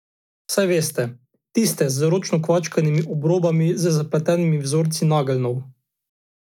Saj veste, tiste z ročno kvačkanimi obrobami z zapletenimi vzorci nageljnov.